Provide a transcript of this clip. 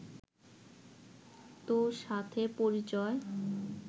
তোর সাথে পরিচয়